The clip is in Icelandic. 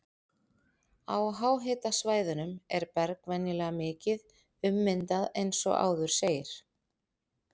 Á háhitasvæðunum er berg venjulega mikið ummyndað eins og áður segir.